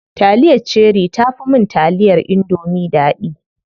Taliyar cherie tafi mun taliyar indomie daɗi.